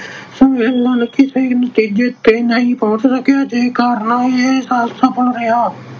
ਸੰਮੇਲਨ ਕਿਸੇ ਨਤੀਜੇ ਤੇ ਨਹੀਂ ਪਹੁੰਚ ਸਕਿਆ। ਜਿਸ ਕਾਰਨ ਇਹ ਅਸਫਲ ਰਿਹਾ।